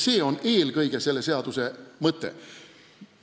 See on eelkõige selle eelnõu mõte.